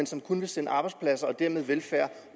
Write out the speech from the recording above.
som kun vil sende arbejdspladser og dermed velfærd